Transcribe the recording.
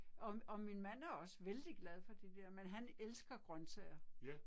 Og og min mand er også vældig glad for det der men han elsker grøntsager